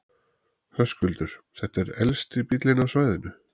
Höskuldur: Þetta er elsti bíllinn á svæðinu?